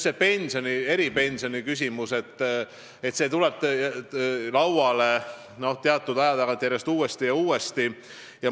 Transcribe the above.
See eripensioniküsimus tuleb teatud aja tagant uuesti ja uuesti lauale.